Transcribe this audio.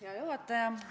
Hea juhataja!